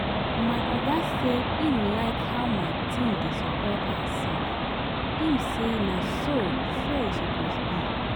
My oga say im like how my team dey support ourself, im say na so so e suppose be